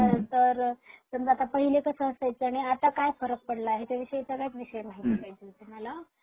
खरतर समजा आता पहिले कस असायचं आणि आता काय फरक पडला याच्यावीषयी सगळ्या विषयी माहिती पाहिजे होती मला.